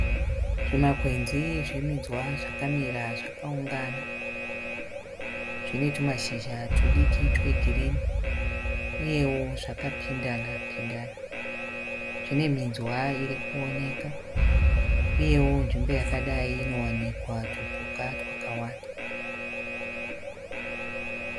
Zvimakwebzi zveminzwa zvamira zvakaungana. Zvinetumashizha tudiki twegirinhi. Uyewo zvakapindanapindana. Zvineminzwa irikuoneka. Uyewo nzvimbo yakadai inowanikwa tupuka twakawanda.